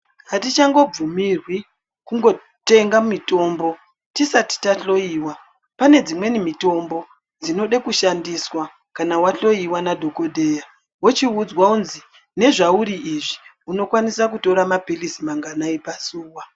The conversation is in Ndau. Atichangobvumirwi kungotenga mitombo tisati tahloyiwa. Pane dzimweni mitombo dzinode kushandiswa kana wahloyiwa nadhokodheya wochiudzwa kunzi nezvauri izvi unokwanisa kutora maphilizi manganai pazuwa.